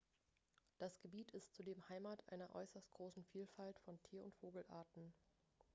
das gebiet ist zudem heimat einer äußerst großen vielfalt von tier und vogelarten